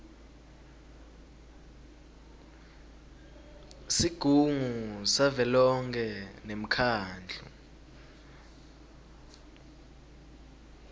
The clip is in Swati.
sigungu savelonkhe nemkhandlu